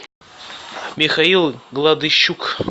михаил гладыщук